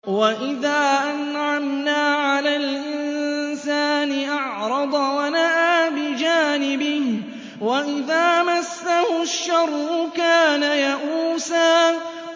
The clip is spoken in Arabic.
وَإِذَا أَنْعَمْنَا عَلَى الْإِنسَانِ أَعْرَضَ وَنَأَىٰ بِجَانِبِهِ ۖ وَإِذَا مَسَّهُ الشَّرُّ كَانَ يَئُوسًا